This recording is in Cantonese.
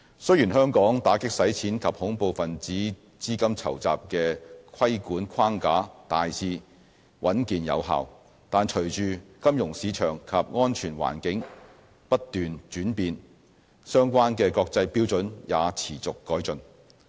雖然香港打擊洗錢及恐怖分子資金籌集的規管框架大致穩健有效，但隨着金融市場及安全環境不斷轉變，相關的國際標準也持續改進。